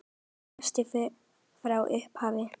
Sá besti frá upphafi?